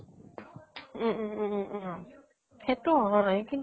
উম উম উম উম । সেইতো হয় কিন্তু